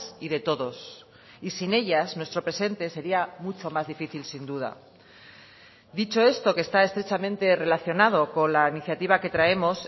y de todos y sin ellas nuestro presente sería mucho más difícil sin duda dicho esto que está estrechamente relacionado con la iniciativa que traemos